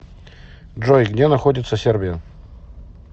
джой где находится сербия